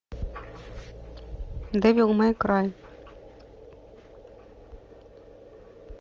дэвил мэй край